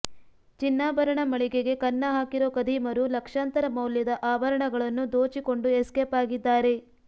ಚಿನ್ನಾಭರಣ ಮಳಿಗೆಗೆ ಕನ್ನ ಹಾಕಿರೋ ಖದೀಮರು ಲಕ್ಷಾಂತರ ಮೌಲ್ಯದ ಆಭರಣಗಳನ್ನು ದೋಚಿಕೊಂಡು ಎಸ್ಕೇಪ್ ಆಗಿದ್ದಾರೆ